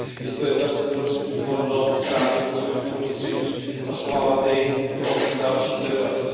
Je to jedna z evropských hodnot chránit životní prostředí, zachovávat je pro další generace.